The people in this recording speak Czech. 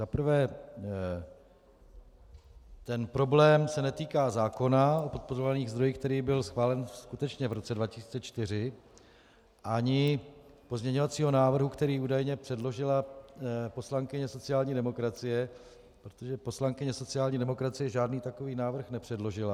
Za prvé ten problém se netýká zákona o podporovaných zdrojích, který byl schválen skutečně v roce 2004, ani pozměňovacího návrhu, který údajně předložila poslankyně sociální demokracie, protože poslankyně sociální demokracie žádný takový návrh nepředložila.